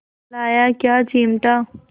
लाया क्या चिमटा